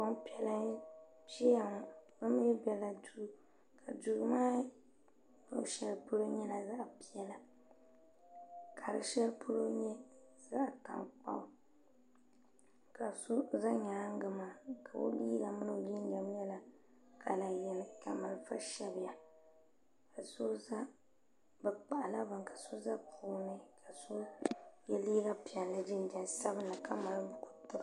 Gbanpiɛla n ʒɛya ŋɔ bi mi bɛla duu ka duu maa luɣushɛli polo nyɛla zaɣa piɛla ka di shɛli polo nyɛ zaɣa tankpaɣu ka so za nyaanga maa ka o liiga mini o jinjam nyɛla kala yini ka malifa shabi ya ka so za bi kpahi la bini ka so za puuni ka so yɛ liiga piɛlli jinjam sabinli ka mali.